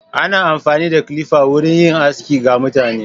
Ana amfani da kilifa wurin yin aski ga mutane.